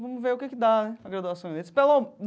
Vamos ver o que que dá né a graduação.